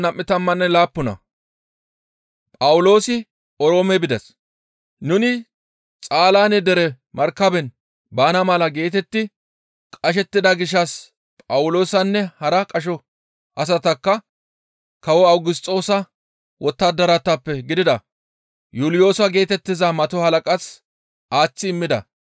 Nuni Xaalaane dere markaben baana mala geetetti qashettida gishshas Phawuloosanne hara qasho asatakka kawo Awugisxoossa wottadaratappe gidida Yuuliyoosa geetettiza mato halaqaas aaththi immida.